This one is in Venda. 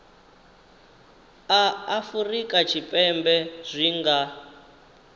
a afurika tshipembe zwi nga